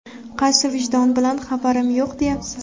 Qaysi vijdon bilan ‘Xabarim yo‘q!’, deyapsiz?”.